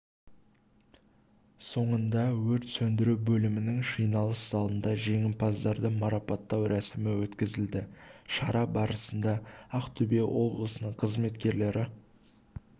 соңында өрт сөндіру бөлімінің жиналыс залында жеңімпаздарды марапаттау рәсімі өткізілді шара барысында ақтөбе облысының қызметкерлері